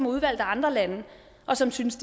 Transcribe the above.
udvalgt af andre lande og som de synes